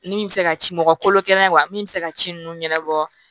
Min bɛ se ka ci mɔgɔkolo kɛnɛ ma wa min bɛ se ka ci ninnu ɲɛnabɔ